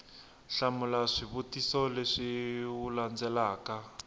hlamula swivutiso leswi wu landzelaka